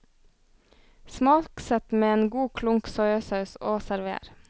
Smaksett med en god klunk soyasaus og server.